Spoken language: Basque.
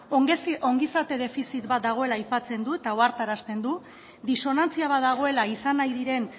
ongizate defizit bat dagoela aipatzen du eta ohartarazten du disonantzia bat dagoela izan nahi diren